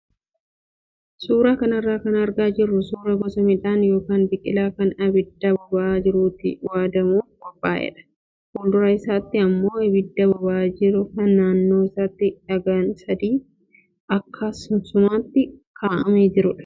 Suuraa kanarraa kan argaa jirru suuraa gosa midhaan yookaan biqilaa kan abidda boba'aa jirutti waadamuuf qophaa'edha. Fuuldura isaatti immoo abidda boba'aa jiru kan naannoo isaatti dhagaan sadii akka suunsumaatti kaa'amee jirudha.